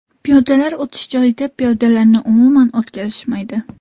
Piyodalar o‘tish joyida piyodalarni umuman o‘tkazishmaydi.